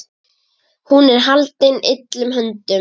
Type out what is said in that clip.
Hún er haldin illum öndum.